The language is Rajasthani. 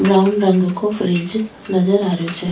ब्राउन रंग को फ्रीज नजर आ रहियो छे।